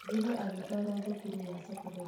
Thutha agĩtwarwo thukuru ya thekondarĩ.